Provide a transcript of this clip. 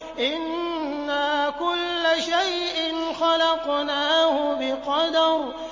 إِنَّا كُلَّ شَيْءٍ خَلَقْنَاهُ بِقَدَرٍ